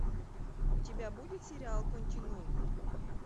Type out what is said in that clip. у тебя будет сериал континуум